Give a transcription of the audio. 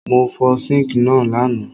Mo fo sink náà lánàá